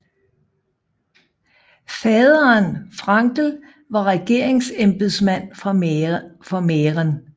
Faderen Gabriel Frankl var regeringsembedsmand fra Mähren